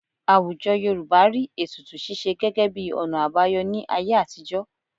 Àwùjọ Yorùbá rí ètùtù ṣíṣe gẹ́gẹ́ bí ọ̀nà àbáyọ ní ayé àtijọ́